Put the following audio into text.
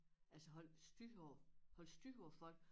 Altså holde styr på holde styr på folk